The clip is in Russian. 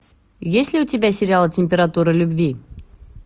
есть ли у тебя сериал температура любви